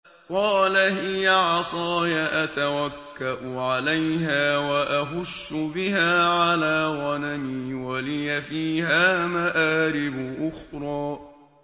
قَالَ هِيَ عَصَايَ أَتَوَكَّأُ عَلَيْهَا وَأَهُشُّ بِهَا عَلَىٰ غَنَمِي وَلِيَ فِيهَا مَآرِبُ أُخْرَىٰ